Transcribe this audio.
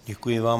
Děkuji vám.